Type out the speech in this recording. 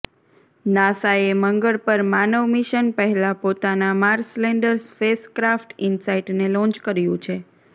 નાસાએ મંગળ પર માનવ મિશન પહેલા પોતાના માર્સ લેન્ડર સ્પેસક્રાફ્ટ ઈનસાઈટને લોન્ચ કર્યું છે